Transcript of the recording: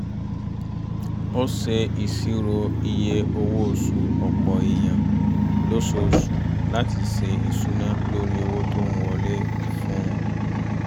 ó ṣe ìṣirò iye owó osu ọ̀pọ̀ èèyàn lóṣooṣù láti ṣe ìṣúná lórí owó tó ń wọlé fún-un